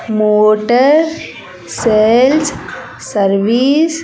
motor sales service